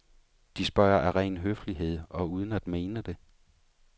De spørger af ren høflighed og uden at mene det.